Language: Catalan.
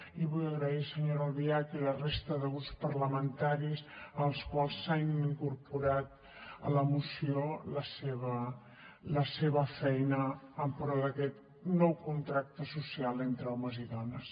i vull agrair senyora albiach i la resta de grups parlamentaris els quals s’han incorporat a la moció la seva feina en pro d’aquest nou contracte social entre homes i dones